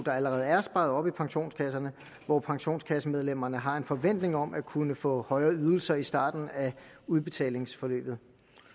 allerede er sparet op i pensionskasserne hvor pensionskassemedlemmerne har en forventning om at kunne få højere ydelser i starten af udbetalingsforløbet